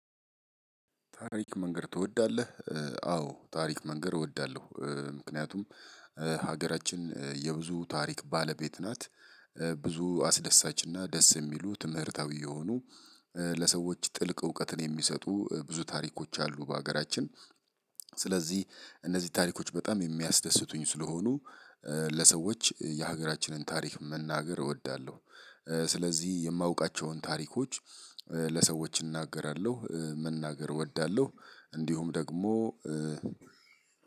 ታሪክ መንገር ትወዳለህ? አዎ ታሪክ መንገር እወዳለሁ ምክንያቱም ሀገራችን የብዙ ታሪክ ባለቤት ናት። ብዙ አስደሳች እና ደስ የሚሉ ትምህርታዊ የሆኑ ለሰዎች ጥልቅ እውቀትን የሚሰጡ ብዙ ታሪኮች አሉ በሀገራችን። ስለዚህ እነዚህ ታሪኮች በጣም የሚያስደስቱኝ ስለሆኑ ለሰዎች የሀገራችንን ታሪክ መናገር እወዳለሁ። ስለዚህ የማውቃቸውን ታሪኮች ለሰዎች እናገራለሁ መናገር እወዳለሁ። እንዲሁም ደግሞ